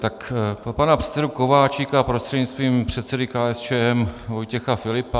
Pro pana předsedu Kováčika prostřednictvím předsedy KSČM Vojtěcha Filipa.